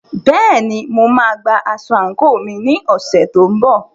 Bẹ́ẹ̀ni, mo máa gba aṣọ àǹkóò mi ní ọ̀sẹ̀ tó ń bọ̀.